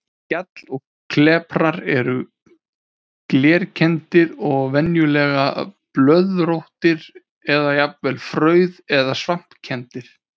Gjall og kleprar eru glerkenndir og venjulega blöðróttir eða jafnvel frauð- eða svampkenndir.